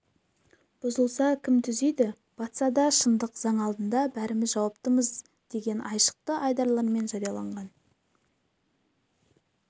бұзылса кім түзейді батса да шындық заң алдында бәріміз жауаптымыз деген айшықты айдарлармен жарияланған